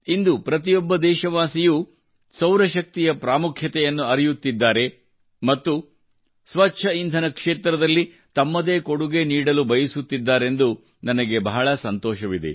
ಇಂದು ಪ್ರತಿಯೊಬ್ಬ ದೇಶವಾಸಿಯೂ ಸೌರ ಶಕ್ತಿಯ ಪ್ರಾಮುಖ್ಯವನ್ನು ಅರಿಯುತ್ತಿದ್ದಾರೆ ಮತ್ತು ಸ್ವಚ್ಛ ಇಂಧನ ಕ್ಷೇತ್ರದಲ್ಲಿ ತಮ್ಮದೇ ಕೊಡುಗೆ ನೀಡಲು ಬಯಸುತ್ತಿದ್ದಾರೆಂದು ನನಗೆ ಬಹಳ ಸಂತೋಷವಿದೆ